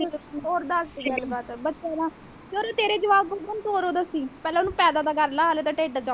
ਹੋਰ ਦਸ ਕੋਈ ਗੱਲ ਬਾਤ ਹੈ ਬੱਚੇ ਦਾ ਜਦੋਂ ਤੇਰੇ ਜਵਾਕ ਹੋਣਗੇ ਤੂੰ ਉਦੋਂ ਦੱਸੀ ਪਹਿਲਾਂ ਉਹਨੂੰ ਪੈਦਾ ਤੇ ਕਰ ਲੈ ਹਾਲੇ ਤੇ ਟਿੱਡ ਦੇ ਵਿਚ ਹੈ ਉਹ।